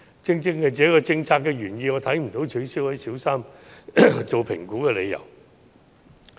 正正是這項政策的原意，讓我看不到取消小三評估的理由。